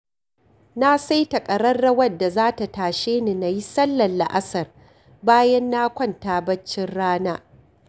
Na saita ƙararrawar da za ta tashe ni na yi sallar la'asar, bayan na kwanta baccin rana